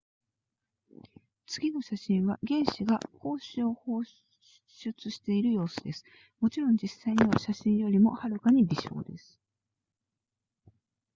次の写真は原子が光子を放出している様子ですもちろん実際には写真よりもはるかに微小です